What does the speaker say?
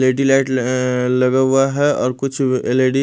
L E D light अं लगा हुआ है और कुछ एल_ई_डी --